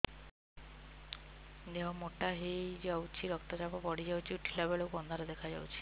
ଦେହ ମୋଟା ହେଇଯାଉଛି ରକ୍ତ ଚାପ ବଢ଼ି ଯାଉଛି ଉଠିଲା ବେଳକୁ ଅନ୍ଧାର ଦେଖା ଯାଉଛି